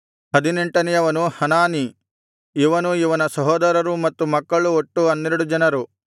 ಹದಿನೆಂಟನೆಯವನು Hanani ಇವನೂ ಇವನ ಸಹೋದರರೂ ಮತ್ತು ಮಕ್ಕಳು ಒಟ್ಟು ಹನ್ನೆರಡು ಜನರು